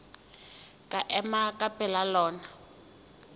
ke ema ka pela lona